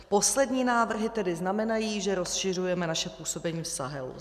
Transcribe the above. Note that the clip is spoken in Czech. Poslední návrhy tedy znamenají, že rozšiřujeme naše působení v Sahelu.